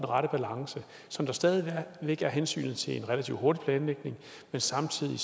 rette balance så der stadig væk er hensynet til en relativt hurtig planlægning men samtidig